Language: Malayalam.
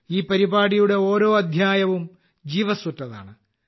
ഈ പരിപാടിയുടെ ഓരോ അദ്ധ്യായവും ജീവസ്സുറ്റതാണ്